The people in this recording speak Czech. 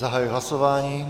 Zahajuji hlasování.